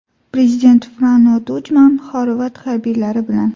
Prezident Frano Tujman xorvat harbiylari bilan.